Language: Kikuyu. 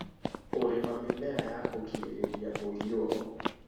Ũrĩma mĩmera ya kũgirĩrĩria mũiyũro